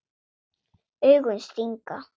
Augun stinga.